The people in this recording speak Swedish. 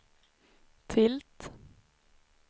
tilt